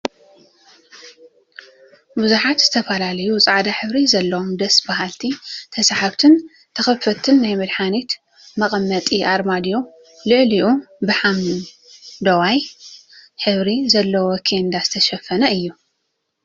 ቡዙሓትን ዝተፈላለዩን ፃዕዳ ሕብሪ ዘለዎም ደስ በሃልቲ ተሳሓብቲን ተከፈትቲን ናይ መድሓኒት መቀመጢ አርማድዮ ላዕሉ ብሓመደዋይ ሕብሪ ዘለዎ ኬንዳ ዝተሸፈነ እዩ፡፡